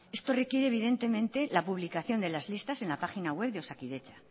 esto requiere la publicación de las listas en la página web de osakidetza